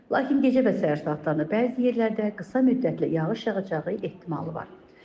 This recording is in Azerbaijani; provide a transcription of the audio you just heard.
Lakin gecə və səhər saatlarında bəzi yerlərdə qısa müddətli yağış yağacağı ehtimalı var.